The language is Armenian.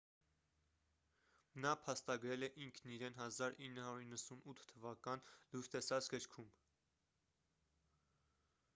նա փաստագրել է ինքն իրեն 1998 թ լույս տեսած գրքում